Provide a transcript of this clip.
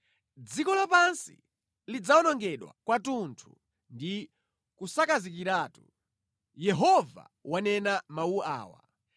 Dziko lapansi lidzawonongedwa kwathunthu ndi kusakazikiratu. Yehova wanena mawu awa.